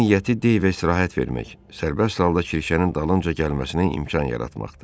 Onun niyyəti Deyvə istirahət vermək, sərbəst halda Kirşənin dalınca gəlməsinə imkan yaratmaqdır.